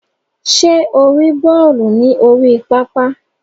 Ṣe o ri bọọlu ni orí pápá?